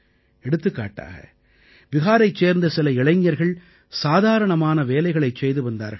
எடுத்துக்காட்டாக பிஹாரைச் சேர்ந்த சில இளைஞர்கள் சாதாரணமான வேலைகளைச் செய்து வந்தார்கள்